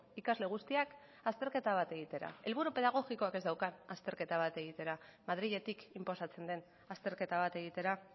ikasle guztiak azterketa bat egitera helburu pedagogikoak ez daukan azterketa bat egitera madriletik inposatzen den azterketa bat egitera